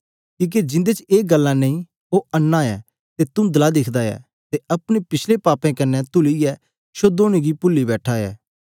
कीहके जिन्दे ए गल्ला नेईं ओह अन्नां ऐ अते तुन्दला दिखदा ऐ अते अपने पिछले पापे कन्ने तुलिये शुद्ध होने गी पूली बैठा ऐ